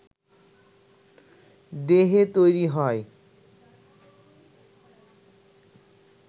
দেহে তৈরি হয়